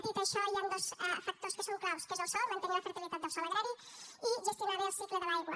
dit això hi han dos factors que són clau que són el sòl mantenir la fertilitat del sòl agrari i gestionar bé el cicle de l’aigua